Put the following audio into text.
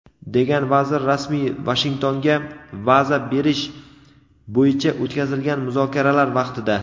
degan vazir rasmiy Vashingtonga baza berish bo‘yicha o‘tkazilgan muzokaralar vaqtida.